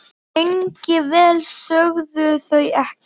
Lengi vel sögðu þau ekkert.